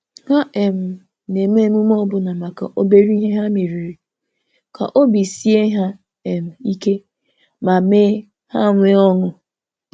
Ha um na-eme emume ọbụna maka obere ihe ha meriri, ka obi sie ha um ike ma mee ha nwee ọṅụ.